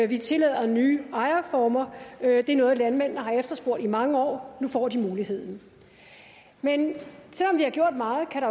vi tillader nye ejerformer det er noget landmændene har efterspurgt i mange år nu får de muligheden men selv om vi har gjort meget kan